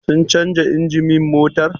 Sun canja injimin motar?